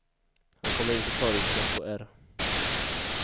Han kommer inte att ta risken att få ärr.